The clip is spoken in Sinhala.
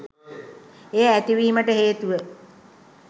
එය ඇතිවීමට හේතුව